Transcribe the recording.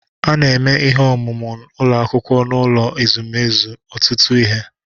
A na-eme ihe omume ụlọ akwụkwọ n'ụlọ ezumezu ọtụtụ ihe.